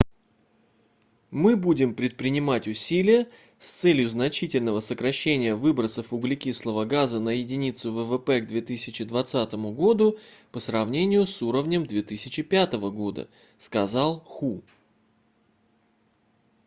мы будем предпринимать усилия с целью значительного сокращения выбросов углекислого газа на единицу ввп к 2020 году по сравнению с уровнем 2005 года - сказал ху